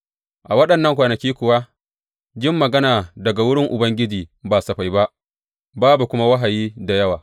A waɗannan kwanaki kuwa jin magana daga wurin Ubangiji ba safai ba, babu kuma wahayi da yawa.